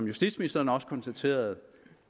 justitsministeren også konstaterede